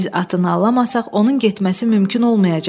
Biz atın nalını alamasax onun getməsi mümkün olmayacaq.